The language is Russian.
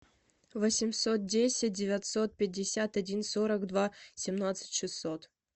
восемьсот десять девятьсот пятьдесят один сорок два семнадцать шестьсот